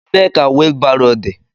Ebee ka wheel barrow dị?